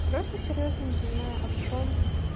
просто серьёзно не понимаю а в чем